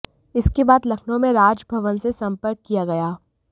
इसके बाद लखनऊ में राजभवन से संपर्क किया गया